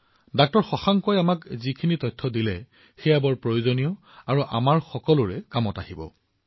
ডাঃ শশাংকই আমাক দিয়া তথ্য অতি গুৰুত্বপূৰ্ণ আৰু এয়া আমাৰ সকলোৰে বাবে উপযোগী হব